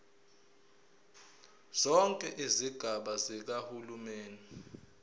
zonke izigaba zikahulumeni